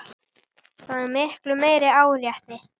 Það er miklu meira áreiti.